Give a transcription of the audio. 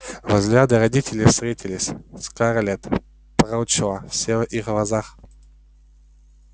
взгляды родителей встретились и скарлетт прочла все в их глазах